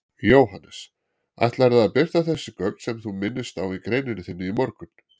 Jóhannes: Ætlarðu að birta þessi gögn sem þú minnist á í greininni þinni í morgun?